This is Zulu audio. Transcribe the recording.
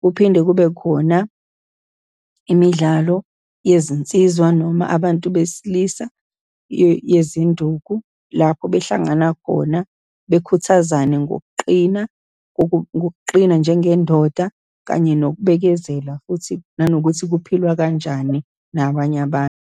Kuphinde kube khona imidlalo yezinsizwa, noma abantu besilisa yezinduku, lapho behlangana khona, bekhuthazane ngokuqina, okuqina njengendoda, kanye nokubekezela, futhi nanokuthi kuphilwa kanjani nabanye abantu.